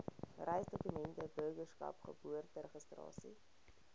reisdokumente burgerskap geboorteregistrasie